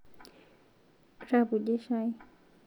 Repuje chai